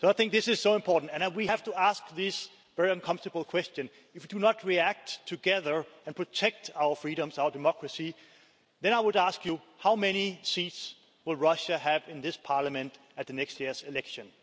This is so important, and we have to ask this very uncomfortable question if you do not react together and protect our freedoms, our democracy, then I would ask you how many seats will Russia have in this Parliament at next year's election?